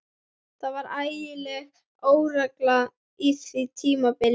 Það var ægileg óregla á því tímabili.